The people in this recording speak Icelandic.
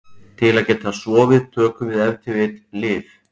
Til að geta sofið tökum við ef til vill lyf.